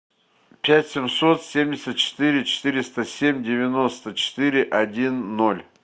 пять семьсот семьдесят четыре четыреста семь девяносто четыре один ноль